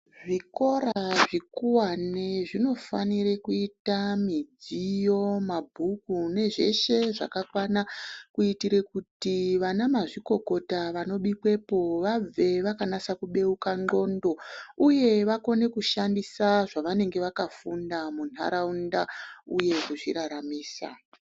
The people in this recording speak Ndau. Zvikora zvikuwani zvino fanire kuita midziyo mabhuku ne zveshe zvaka kwana kuitire kuti vana mazvikokota vano bikwepo vabve vaka nasa ku beuka ndxondo uye vakone kushandisa zvavanenge vaka funda mu ndaraunda uye ku zviraramisa.